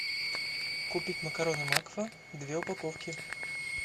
купить макароны макфа две упаковки